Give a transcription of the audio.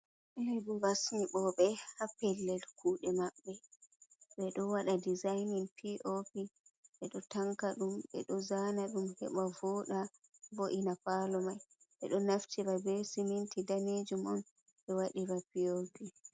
Huuwooɓe haa pellel kuuɗe maɓɓe be ɗo waɗa dizainin p.o.p ɓe ɗo tanka ɗum ɓe ɗo zaana ɗum heɓa vooɗa vo''na paalo mai, ɓe ɗo naftira bee siminti daneejum on ɓe wadira p.o.p